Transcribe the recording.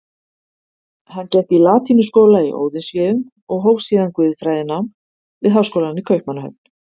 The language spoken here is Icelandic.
Hann gekk í latínuskóla í Óðinsvéum og hóf síðan guðfræðinám við háskólann í Kaupmannahöfn.